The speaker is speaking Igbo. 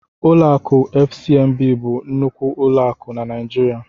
Ụlọ akụ FCMB bụ nnukwu ụlọ akụ na Naijiria.